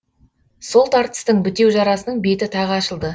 сол тартыстың бітеу жарасының беті тағы ашылды